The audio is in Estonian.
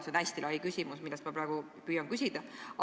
See on hästi lai teema, mille kohta ma praegu püüan küsida.